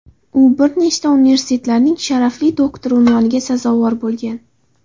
U bir nechta universitetlarning sharafli doktori unvoniga sazovor bo‘lgan.